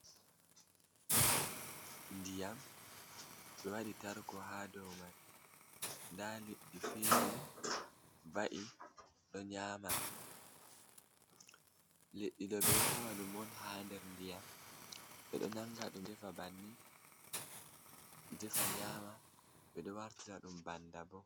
Ndiyam, be wađi tarko haa dow mai ndaa Liddi fiiri va'i đo nyaama, Liđđi đo đo beđo Taw đum haa ndiyam, beđo defa nyaama đum bannin, beđo wartira đum banda bo.